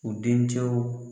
U dencɛw